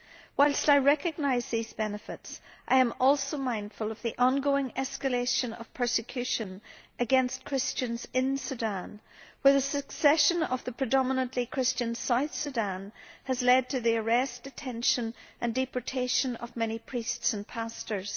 Whilst I recognise these benefits, I am also mindful of the ongoing escalation of persecution against Christians in Sudan, as the secession of the predominantly Christian South Sudan has led to the arrest, detention and deportation of many priests and pastors.